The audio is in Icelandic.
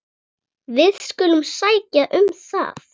Við skulum sækja um það.